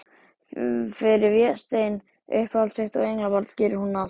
Fyrir Véstein, uppáhald sitt og englabarn, gerir hún allt.